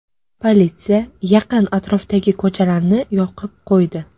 Politsiya yaqin atrofdagi ko‘chalarni yopib qo‘ydi.